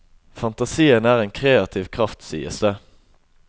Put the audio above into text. Fantasien er en kreativ kraft, sies det.